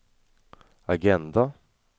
agenda